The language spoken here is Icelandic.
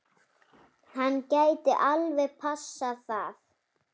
Hann gæti alveg passað það.